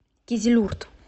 кизилюрт